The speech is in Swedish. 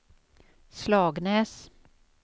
Slagnäs